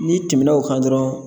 N'i tɛmɛnna o kan dɔrɔn